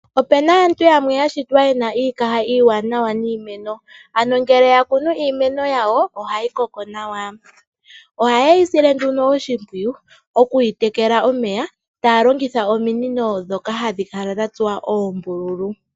Ope na aantu yamwe ya shitwa ye na iikaha iiwanawa niimeno , ano ngele ya kunu iimeno yawo ,ohayi koko nawa. Ohaye yi silwe nduno oshimpwiyu okuyi tekela omeya taya longitha ominino ndhoka hadhi kala dha tsuwa oombululu.